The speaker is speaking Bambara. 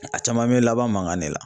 A caman bɛ laban mankan de la.